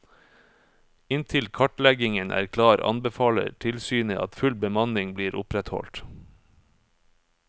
Inntil kartleggingen er klar, anbefaler tilsynet at full bemanning blir opprettholdt.